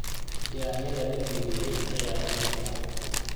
Yaanyada la jajabiyey ayaa ugu fiican.